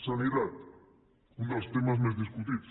sanitat un dels temes més discutits